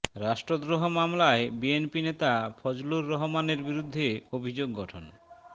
রাষ্ট্রদ্রোহ মামলায় বিএনপি নেতা ফজলুর রহমানের বিরুদ্ধে অভিযোগ গঠন